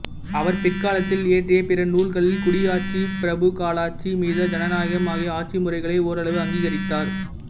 அவர் பிற்காலத்தில் இயற்றிய பிற நூல்களில் குடியாட்சி பிரபுக்களாட்சி மித ஜனநாயகம் ஆகிய ஆட்சிமுறைகளை ஓரளவு அங்கீகரித்தார்